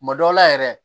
Tuma dɔw la yɛrɛ